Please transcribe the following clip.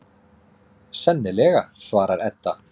Sennilega, svarar Edda.